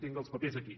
tinc els papers aquí